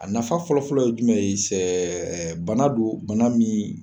A nafa fɔlɔfɔlɔ ye jumɛn ye bana don bana min.